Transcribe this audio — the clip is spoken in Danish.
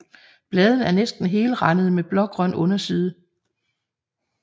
Bladene er næsten helrandede med blågrøn underside